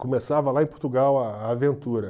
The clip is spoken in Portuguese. Começava lá em Portugal a a aventura.